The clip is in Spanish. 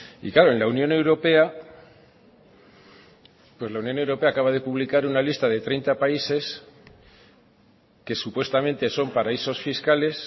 y claro en la unión europea pues la unión europea acaba de publicar una lista de treinta países que supuestamente son paraísos fiscales